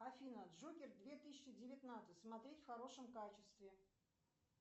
афина джокер две тысячи девятнадцать смотреть в хорошем качестве